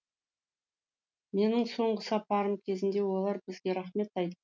менің соңғы сапарым кезінде олар бізге рақмет айт